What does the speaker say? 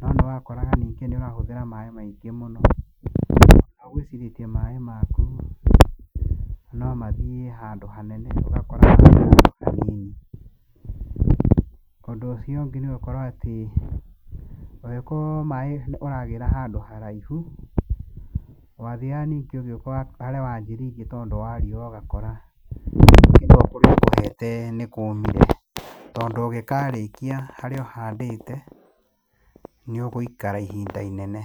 No nĩwakoraga ningĩ nĩ ũrahũthĩra maĩ maingĩ mũno, nĩ gũitĩrĩria maĩ maku no mathiĩ handũ hanene, ũgakora atĩ mathiĩ handũ hanini. Ũndũ ũcio ũngĩ nĩgũkorwo nĩatĩ, ũngĩkorwo maĩ ũragĩra handũ haraihu, wathiaga ningĩ ũgĩũka harĩa wambĩrĩirie ũgakora harĩa nĩkũmire, tondũ ũngĩkarĩkia harĩa ũhandĩte, nĩũgũikara ihinda inene.